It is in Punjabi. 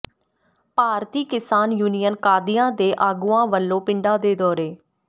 ਭਾਰਤੀ ਕਿਸਾਨ ਯੂਨੀਅਨ ਕਾਦੀਆਂ ਦੇ ਆਗੂਆਂ ਵੱਲੋਂ ਪਿੰਡਾਂ ਦੇ ਦੌਰੇ